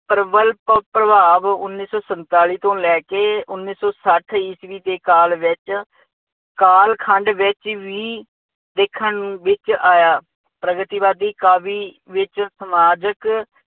ਪ੍ਰਬ਼ਲ ਪ੍ਰਭਾਵ ਉੱਨੀ ਸੌ ਸੰਤਾਲੀ ਤੋਂ ਲੈ ਕੇ ਉੱਨੀ ਸੌ ਸੱਠ ਈਸਵੀ ਦੇ ਕਾਲ ਵਿੱਚ, ਕਾਲ ਖੰਡ ਵਿੱਚ ਵੀ, ਦੇਖਣ ਨੂੰ ਵਿੱਚ ਆਇਆ, ਪ੍ਰਗਤੀਵਾਦੀ ਕਾਵਿ ਵਿੱਚ ਸਮਾਜਿਕ